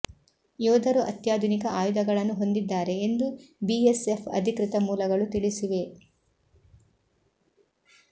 ಯೋಧರು ಅತ್ಯಾಧುನಿಕ ಆಯುಧಗಳನ್ನು ಹೊಂದಿದ್ದಾರೆ ಎಂದು ಬಿಎಸ್ಎಫ್ ಅಧಿಕೃತ ಮೂಲಗಳು ತಿಳಿಸಿವೆ